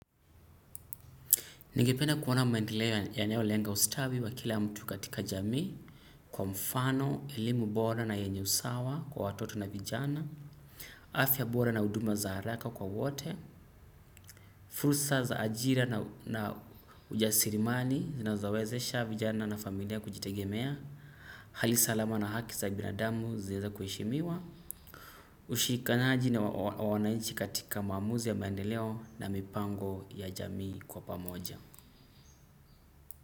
Ningependa kuwona mandeleo yanayo lenga ustawi wa kila mtu katika jami, kwa mfano, elimu bora na yenye usawa kwa watoto na vijana, afya bora na uduma za haraka kwa wote, fursa za ajira na ujasirimani na zinzowezesha vijana na familia kujitegemea, halisalama na haki za binadamu ziza kueshimiwa, ushikanyaji na wanainchi katika mamuzi ya mandileo na mipango ya jami kwa pamoja.